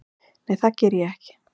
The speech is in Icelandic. Nei það geri ég ekki.